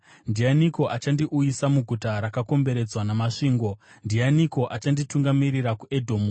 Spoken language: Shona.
Ndianiko achandiuyisa muguta rakakomberedzwa namasvingo? Ndianiko achanditungamirira kuEdhomu?